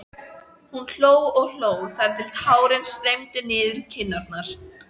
Nikka en útsýnið yfir Austurvöll heillaði hana þó meira.